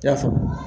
I y'a faamu